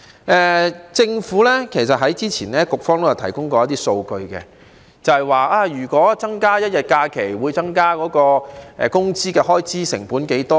根據政府當局早前提供的數據，增加1天假期會令工資開支成本增加多少呢？